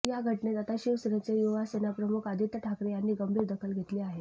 या घटनेत आता शिवसेनेचे युवासेना प्रमुख आदित्य ठाकरे यांनी गंभीर दखल घेतली आहे